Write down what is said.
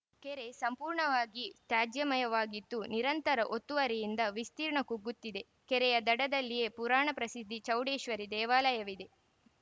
ಕೆರೆ ಸಂಪೂರ್ಣವಾಗಿ ತ್ಯಾಜ್ಯಮಯವಾಗಿದ್ದು ನಿರಂತರ ಒತ್ತುವರಿಯಿಂದ ವಿಸ್ತೀರ್ಣ ಕುಗ್ಗುತ್ತಿದೆ ಕೆರೆಯ ದಡದಲ್ಲಿಯೇ ಪುರಾಣಪ್ರಸಿದ್ಧಿ ಚೌಡೇಶ್ವರಿ ದೇವಾಲಯವಿದೆ